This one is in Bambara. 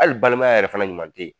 Hali balimaya yɛrɛ fana ɲuman te ye